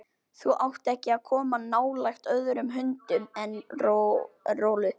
Þú átt ekki að koma nálægt öðrum hundum en Rolu.